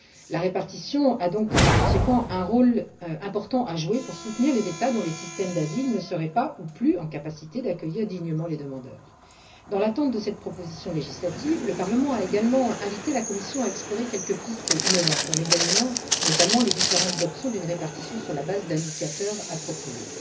La répartition a donc un rôle important à jouer en soutenant les États dont les systèmes d'asile n'auraient pas ou plus les capacités nécessaires pour accueillir dignement les demandeurs. Dans l'attente de cette proposition législative, le Parlement a, par ailleurs, invité la Commission à explorer quelques pistes innovantes, en examinant notamment les différentes options d'une répartition sur la base d'indicateurs appropriés.